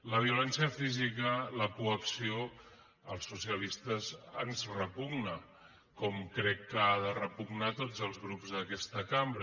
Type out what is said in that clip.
la violència física la coacció als socialistes ens repugna com crec que ha de repugnar a tots els grups d’aquesta cambra